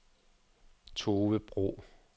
Tove Bro